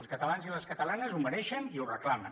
els catalans i les catalanes ho mereixen i ho reclamen